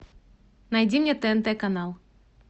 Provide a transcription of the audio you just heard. найди мне тнт канал